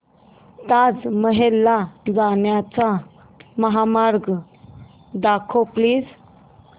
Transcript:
ताज महल ला जाण्याचा महामार्ग दाखव प्लीज